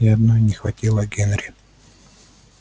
и одной не хватило генри